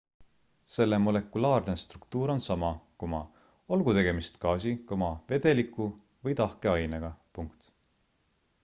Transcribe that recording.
selle molekulaarne struktuur on sama olgu tegemist gaasi vedeliku või tahke ainega